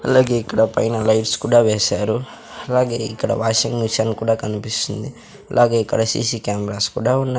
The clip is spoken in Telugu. అలాగే ఇక్కడ పైన లైట్స్ కూడా వేశారు అలాగే ఇక్కడ వాషింగ్ మిషన్ కూడా కనిపిస్తుంది అలాగే ఇక్కడ సీ_సీ కెమెరాస్ కూడా ఉన్నాయి.